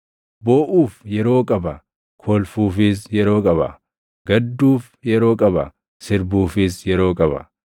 booʼuuf yeroo qaba; kolfuufis yeroo qaba; gadduuf yeroo qaba; sirbuufis yeroo qaba;